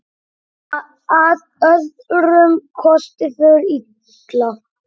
Að öðrum kosti fer illa.